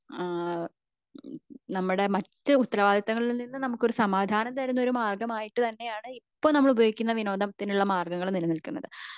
ഏഹ്ഹ് നമ്മുടെ മറ്റു ഉത്തരവാദിത്വങ്ങളിൽ നിന്ന് നമുക് ഒരു സമാധാനം തരുന്ന ഒരു മാർഗം ആയിട്ട് തന്നെയാണ് ഇപ്പോ നമ്മൾ ഉപയോഗിക്കുന്ന വിനോദത്തിനുള്ള മാര്ഗങ്ങള് നില നില്കുന്നത്